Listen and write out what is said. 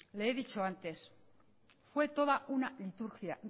le he dicho antes fue toda una liturgia